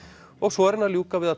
og svo er hann að ljúka við að